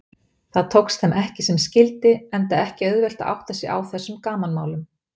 Það tókst þeim ekki sem skyldi enda ekki auðvelt að átta sig á þessum gamanmálum.